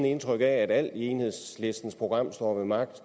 indtryk af at alt i enhedslistens program står ved magt